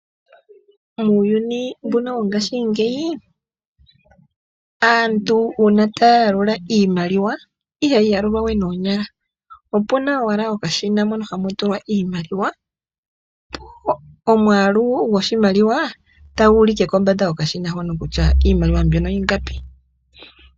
Uuyuni wongashingeyi, uuna aantu taya yalula iimaliwa ihaya yalula we noonyala. Opuna okashina mono hamutulwa iimaliwa nomwaalu goshimaliwa otagu ulike kombanda yokashina hoka kutya ingapi.